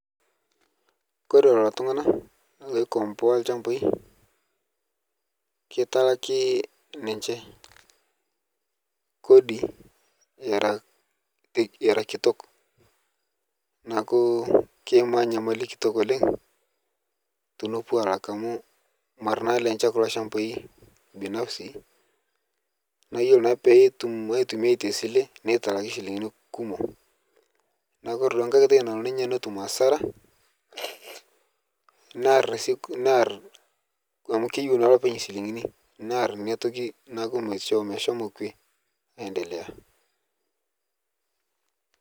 Kore loo ltung'ana oikomboa ilchambai keitaaki ninchee kodi eraa eraa kitook naaku keimaa nyamalii kitook oleng tonopoo alaak amu maraa naa lenchee kuloo lchambaa binafsi. Naaku eiyeloo naa pee etuum aitumiai te silee nee talaaki silingini kumook. Naaku kore duake nkaai tooki naloo ninyee netuum asara nearr nearr amu keiyeu naa loopeny silingini nearr enia ntooki naaku meishoo ashoo kwee aendele.